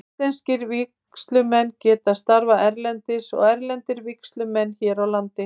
Íslenskir vígslumenn geta starfað erlendis og erlendir vígslumenn hér á landi.